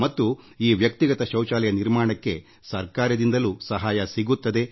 ಮನೆಗಳಲ್ಲಿ ವೈಯಕ್ತಿಕ ಶೌಚಾಲಯಗಳ ನಿರ್ಮಾಣಕ್ಕೆ ಸರ್ಕಾರ ಹಣಕಾಸು ನೆರವೂ ನೀಡುತ್ತದೆ